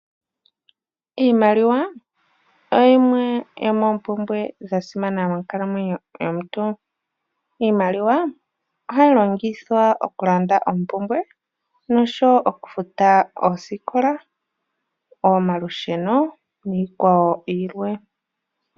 Iimaliwa oyimwe yomompumbwe dha simana monkalamwenyo yomuntu. Iimaliwa ohayi longithwa okulanda oompumbwe noshowo okufuta oosikola, okufuta omalusheno niikwawo yilwe.